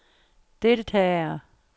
deltagere